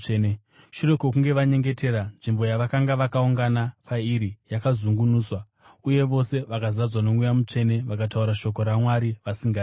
Shure kwokunge vanyengetera, nzvimbo yavakanga vakaungana pairi yakazungunuswa. Uye vose vakazadzwa noMweya Mutsvene vakataura shoko raMwari vasingatyi.